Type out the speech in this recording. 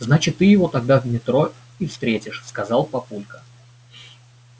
значит ты его тогда в метро и встретишь сказал папулька